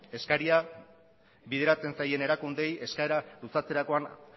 eskaria bideratzen zaien erakundeei eskaera luzatzerakoan